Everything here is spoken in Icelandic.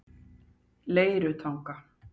Leirutanga